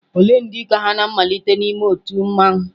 Ole ndị ka ha na-amalite n'ime otu mmanwu?